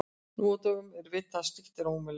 Nú á dögum er vitað að slíkt er ómögulegt.